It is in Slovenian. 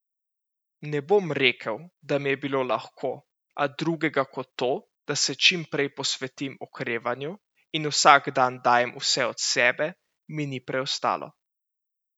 Ne bom rekel, da mi je bilo lahko, a drugega kot to, da se čim prej posvetim okrevanju in vsak dan dajem vse od sebe, mi ni preostalo.